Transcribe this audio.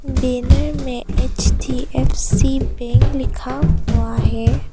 Banner में HDFC bank लिखा हुआ है।